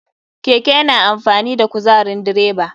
Keke yana amfani da kuzarin direba.